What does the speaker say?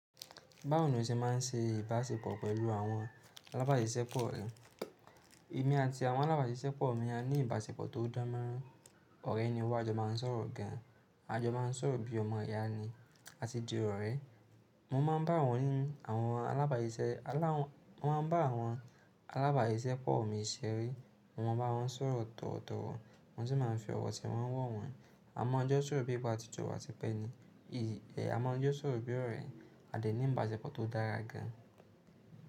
Báwo ni o ṣe má ń se ìbáṣepọ̀ pẹ̀lú àwọn alábàáṣìṣẹ́pọ̀ rẹ? Èmi àti àwọn alábàáṣìṣẹ́pọ̀ mi a ní ìbáṣepọ̀ tó dààmú. Òrẹ́ ni wà á jọ má n sọ̀rọ̀ gan, a jọ má n sọ̀rọ̀ bíi ọmọ ìyá ni àti di ọ̀rẹ́. Mo má n bá àwọn ni awon alábàáṣìṣẹ́pọ̀ mi ṣeré, mo má n bá wọn sọ̀rọ̀ tọ̀wotowo wọn sì má n fi ọ̀wọ̀ tẹ́ wọn wọ̀n wọn. A má n jọ sọ̀rọ̀ bíi pe at jo wa tipe ni, a má n jọ sọ̀rọ̀ bíi ọ̀rẹ́, a sì ní ìbáṣepọ̀ tó dára gan.